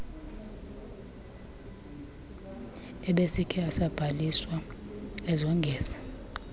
ebesikhe asabhaliswa ezongeza